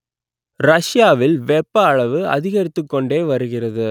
ரஷ்யாவில் வெப்ப அளவு அதிகரித்துக் கொண்டே வருகிறது